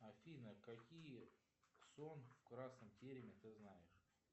афина какие сон в красном тереме ты знаешь